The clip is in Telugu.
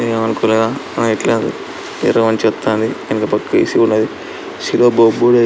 చెప్తా ఉంది. ఎనక పక్క ఏ_సి ఉన్నది శిరో --